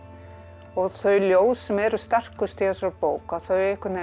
og þau ljóð sem eru sterkust í þessari bók að þau